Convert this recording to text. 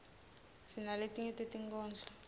sinaletinye tetinkhondlo